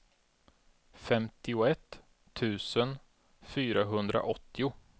femtioett tusen fyrahundraåttio